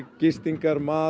gistingar mat